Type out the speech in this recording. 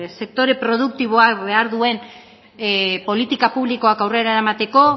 sektore produktiboak behar duen politika publikoak aurrera eramateko